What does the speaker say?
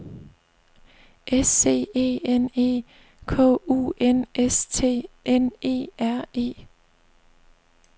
S C E N E K U N S T N E R E